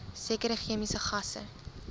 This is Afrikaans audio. sekere chemiese gasse